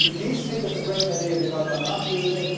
The geese think it is a great idea because they are not losing.